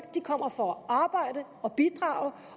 kommer for at arbejde og bidrage